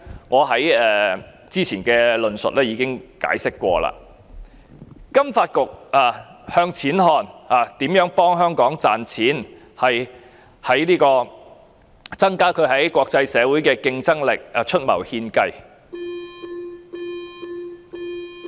我較早前的論述已解釋過，金發局向錢看，幫助香港賺錢，為增加香港在國際社會的競爭力出謀獻計。